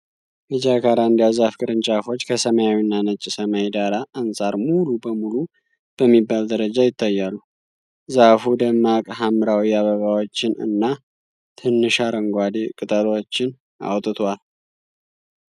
የጃካራንዳ ዛፍ ቅርንጫፎች ከሰማያዊና ነጭ ሰማይ ዳራ አንጻር ሙሉ በሙሉ በሚባል ደረጃ ይታያሉ። ዛፉ ደማቅ ሐምራዊ አበባዎችን እና ትንሽ አረንጓዴ ቅጠሎችን አውጥቷል።